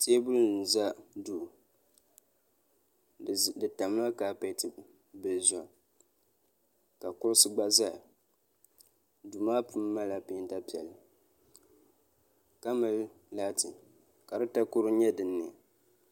Teebuli n za duu di tamla kaapeti zuɣu ka kuɣusi gba zaya duu maa puuni malila penta piɛlli ka mali laati ka di takoro nyɛ din nyo.